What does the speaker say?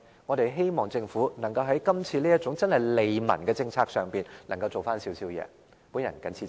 我們希望政府在這種真正利民的政策上可以做一些工作。